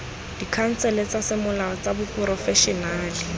dikhansele tsa semolao tsa baporofešenale